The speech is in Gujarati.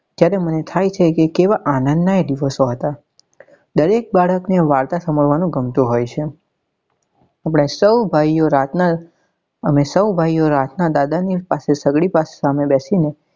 જ્યારે મને થાય છે કે કેવા આનંદ નાં એ દિવસો હતા દરેક બાળક ને વાર્તા સાંભળવા નું ગમતું હોય છે આપણે સૌ ભાઈઓ રાત નાં અમે સૌ ભાઈઓ રાત નાં દાદા ની પાસે સગડી પાસે સામે બેસી ને